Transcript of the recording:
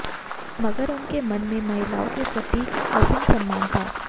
मगर उनके मन में महिलाओं के प्रति असीम सम्मान था